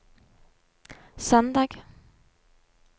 søndag